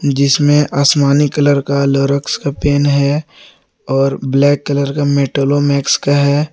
जिसमें आसमानी कलर का लउरेक्स पेन है और ब्लैक कलर का मेट्रोमैक्स का है।